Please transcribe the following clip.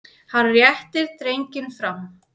Hann réttir drenginn fram.